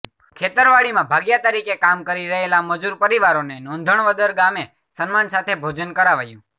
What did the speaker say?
ખેતરવાડીમાં ભાગિયા તરીકે કામ કરી રહેલા મજુર પરિવારોને નોંધણવદર ગામે સન્માન સાથે ભોજન કરાવાયું